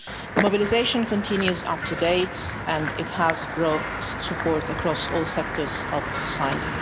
The mobilisation continues up to date and it has brought support from across all sectors of society.